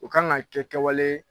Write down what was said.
U kan ka kɛ kɛwale